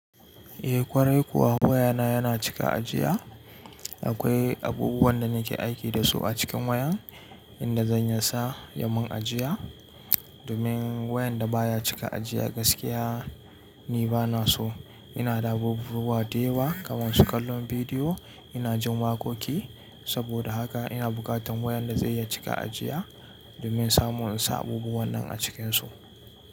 Eh ƙwarai kuwa wayana yana cika ajiya. Akwai abubuwan da nake aiki da su a cikin wayan inda zan iya sa ya mun ajiya. Domin wayan da baya cika ajiya gaskiya ni bana so. Ina da abubuwa dayawa kamar su kallon bidiyo, ina jin waƙoƙi. Saboda haka ina buƙatan wayan da zai iya cika ajiya domin samun in sa abubuwan nan a cikinsu.